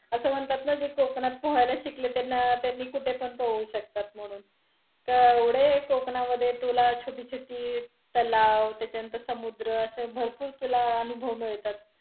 अस म्हणतात न जे कोकणात पोहायला शिकले त्यांना, त्यांनी कुठे पण पोहू शकतात म्हणून, केवढे कोकणामधे तुला छोटी-छोटी तलाव, त्याच्यानंतर समुद्र असे भरपूर तुला अनुभव मिळतात.